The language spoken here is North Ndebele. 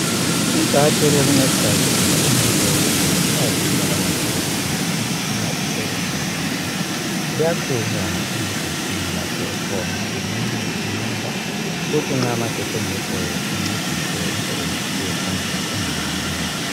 I battery lokuncedisa ukugcina umlilo ,ukuze ngesikhathi kungela magetsi imitshina isebenze kuhle. Liyagxunywa emagetsini lapho ekhona limunye amandla. Kuthi nxa amagetsi engekho lincedise umsebenzi ungami.